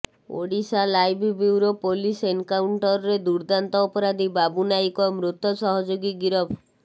Odisha live bureau police ଏନ୍କାଉଣ୍ଟର୍ରେ ଦୁର୍ଦ୍ଦାନ୍ତ ଅପରାଧୀ ବାବୁ ନାଇକ ମୃତ ସହଯୋଗୀ ଗିରଫ